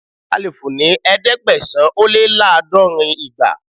A lè fò ní ẹ̀ẹ́dẹ́gbẹ̀sán-ó-lé-láàdọ́rin ìgbà.